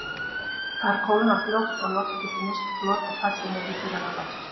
Þar kólnar fljótt og loft getur misst flot og fallið niður í þurrara loft.